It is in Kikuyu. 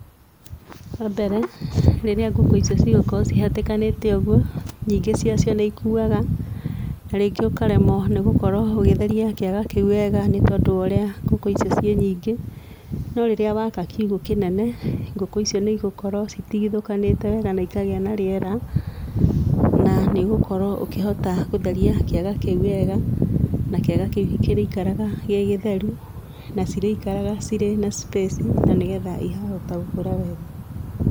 Wa mbere, rĩrĩa ngũkũ icio cigũkorwo cihatĩkanĩte ũguo nyingĩ wacio nĩcikuaga, na rĩngĩ ũkaremwo nĩgũkorwo ũgĩtheria kĩaga kĩu wega nĩ tondũ wa ũrĩa ngũkũ icio ciĩ nyingĩ. No rĩrĩa waka kiugo kĩnene, ngũkũ icio nĩigũkorwo citigithũkanĩte wega na ikagĩa na rĩera, na nĩ ũgũkorwo ũkĩhota gũtheria kĩaga kĩu wega, na kĩaga kĩu kĩrĩikaraga gĩ gĩtheru, na cirĩikaraga ciĩna space na nĩgetha cikahota gũkũra wega.